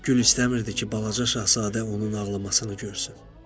Gül istəmirdi ki, balaca Şahzadə onun ağlamasını görsün.